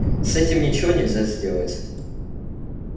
с этим ничего нельзя сделать